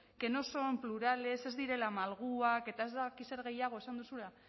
que no son plurales ez direla malguak eta ez dakit zer gehiago esan duzula